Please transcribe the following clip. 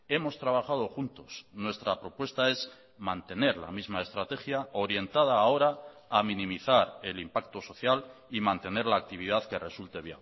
hemos trabajado juntos nuestra propuesta es mantener la misma estrategia orientada ahora a minimizar el impacto social y mantener la actividad que resulte